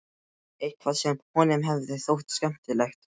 Eitthvað sem honum hefði þótt skemmtilegt.